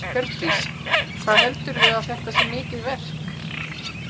Hjördís: Hvað heldurðu að þetta sé mikið verk?